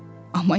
Amma yazır.